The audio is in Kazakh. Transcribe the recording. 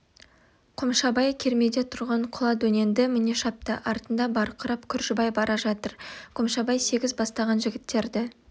қомшабай кермеде тұрған құла дөненді міне шапты артында барқырап күржібай бара жатыр қомшабай сегіз бастаған жігіттерді